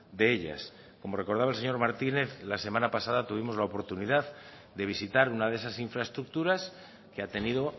de ellas como recordaba el señor martínez la semana pasada tuvimos la oportunidad de visitar una de esas infraestructuras que ha tenido